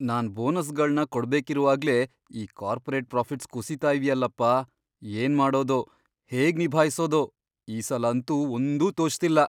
ನಾನ್ ಬೋನಸ್ಗಳ್ನ ಕೊಡ್ಬೇಕಿರುವಾಗ್ಲೇ ಈ ಕಾರ್ಪೊರೇಟ್ ಪ್ರಾಫಿಟ್ಸ್ ಕುಸೀತಾ ಇವ್ಯಲ್ಲಪ್ಪ, ಏನ್ಮಾಡೋದೋ, ಹೇಗ್ ನಿಭಾಯ್ಸೋದೋ ಈಸಲ ಅಂತೂ ಒಂದೂ ತೋಚ್ತಿಲ್ಲ.